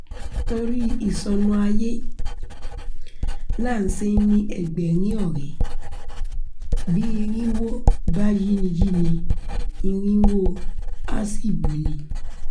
torí ìṣonú ayé là á ṣe ń ní ẹgbẹ̀rin ọ̀rẹ́ bí irínwó bá yinni yinni irínwó àá sì buni